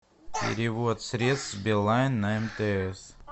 перевод средств билайн на мтс